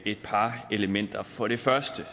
et par elementer for det første